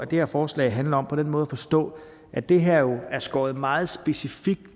det her forslag handler om på den måde at forstå at det her jo er skåret meget specifikt